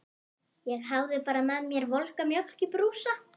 Ég hafði bara með mér volga mjólk í brúsa.